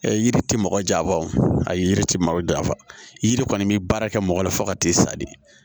yiri ti mɔgɔ jafa o ye yiri ti mɔgɔ jafa yiri kɔni bi baara kɛ mɔgɔ la fo ka t'i sa de